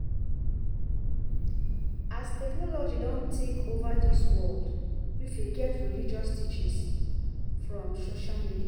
As technology don take over di world, we fit get religious teaching from social media